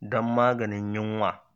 don maganin yunwa